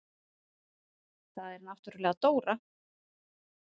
Það er náttúrlega Dóra.